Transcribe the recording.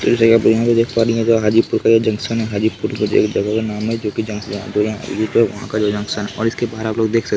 ये जगह हाजीपुर का ये जंक्शन हाजीपुर का एक जगह का नाम है और इसके बाहर आपलोग देख सकते है।